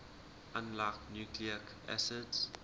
unlike nucleic acids